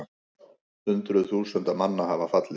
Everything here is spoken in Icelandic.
Hundruð þúsunda manna hafa fallið